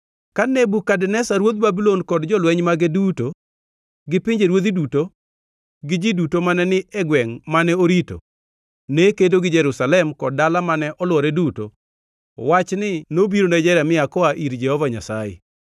Ka Nebukadneza ruodh Babulon kod jolweny mage duto gi pinjeruodhi duto gi ji duto mane ni e gwengʼ mane orito ne kedo gi Jerusalem kod dala mane olwore duto, wachni nobiro ne Jeremia koa ir Jehova Nyasaye: